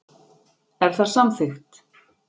Er það samþykkt.